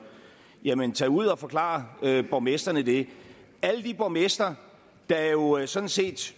jamen tag ud og forklar borgmestrene det alle de borgmestre der jo jo sådan set